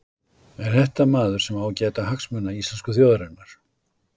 Er þetta maður sem á að gæta hagsmuna íslensku þjóðarinnar?